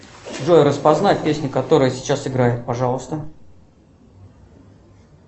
джой распознай песню которая сейчас играет пожалуйста